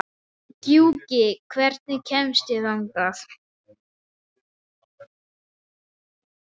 Gjúki, hvernig kemst ég þangað?